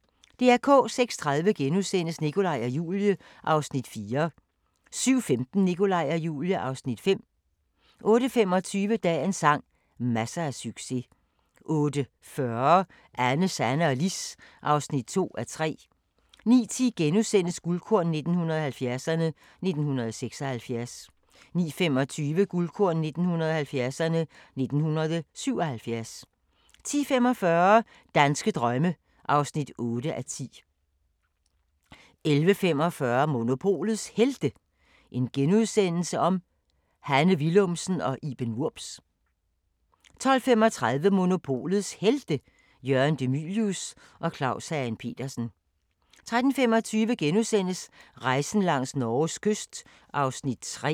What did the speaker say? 06:30: Nikolaj og Julie (Afs. 4)* 07:15: Nikolaj og Julie (Afs. 5) 08:25: Dagens sang: Masser af succes 08:40: Anne, Sanne og Lis (2:3) 09:10: Guldkorn 1970'erne: 1976 * 09:25: Guldkorn 1970'erne: 1977 10:45: Danske drømme (8:10) 11:45: Monopolets Helte - Hanne Willumsen og Iben Wurbs * 12:35: Monopolets Helte – Jørgen De Mylius og Claus Hagen Petersen 13:25: Rejsen langs Norges kyst (3:10)*